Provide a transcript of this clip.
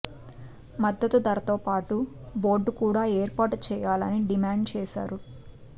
మద్ధతు ధరతో పాటు బోర్డు కూడా ఏర్పాటు చేయాలని డిమాండ్ చేశారు